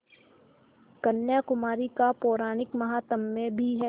कन्याकुमारी का पौराणिक माहात्म्य भी है